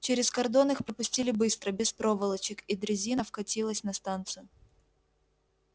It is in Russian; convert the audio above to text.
через кордон их пропустили быстро без проволочек и дрезина вкатилась на станцию